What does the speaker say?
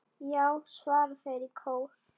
Já! svara þeir í kór.